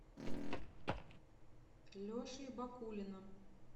лешей бакулиным